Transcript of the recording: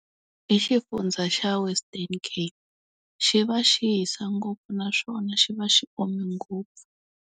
I xifundza xa Western Cape. Xi va xi hisa ngopfu naswona xi va xi ome ngopfu.